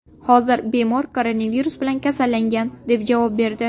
Hozir bemor koronavirus bilan kasallangan”, deb javob berdi.